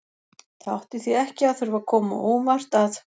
Það átti því ekki að þurfa að koma á óvart að